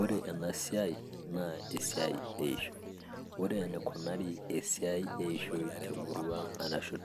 Ore ena siai naa esia eishoi, ore enikunari esia eishoi